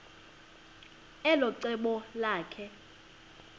elo cebo lakhe